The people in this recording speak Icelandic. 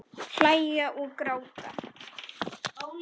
Hlæja og gráta.